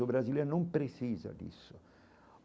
O Brasil não precisa disso.